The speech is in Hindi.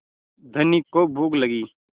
धनी को भूख लगी